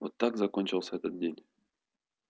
вот так закончился этот день